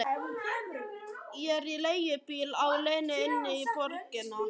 Ég er í leigubíl á leiðinni inn í borgina.